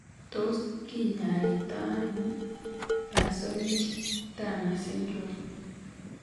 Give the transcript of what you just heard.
Tos kinyaii to ano Parsonage Turner syndrome ?